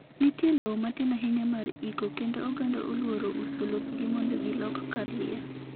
Nitie lowo matin ahinya mar iko kendo oganda oluoro uso lopgi mondo gilok kar liel